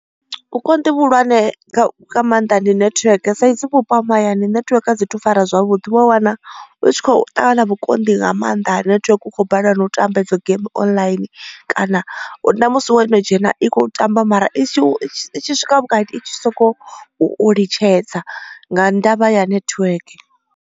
Vhukonḓi vhuhulwane nga maanḓa ndi netiweke saizwi vhupo ha mahayani netiweke a dzi thu fara zwavhuḓi. U wa wana u tshi khou ṱangana na vhukonḓi nga maanḓa ha netiweke. U khou balelwa na u tamba hedzo game online kana na musi wo no dzhena i kho tamba mara i tshi i tshi swika vhukati i tshi sokou u litshedza nga ndavha ya netiweke.